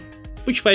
Bu kifayət edər.